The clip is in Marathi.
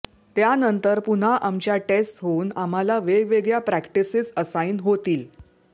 त्यानंतर पुन्हा आमच्या टेस्ट्स होऊन आम्हाला वेगवेगळ्या प्रॅक्टिसेस असाईन होतील